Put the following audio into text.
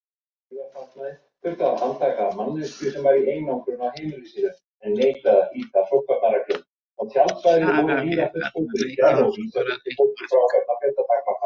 Sara lék allan leikinn og skoraði eitt mark.